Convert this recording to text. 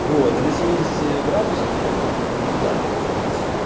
вот и на семидесяти градусах это просто прям нектар получается